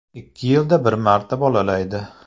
Ikki yilda bir marta bolalaydi.